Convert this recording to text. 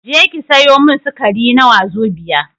Je ki sayo min sukari na wazobia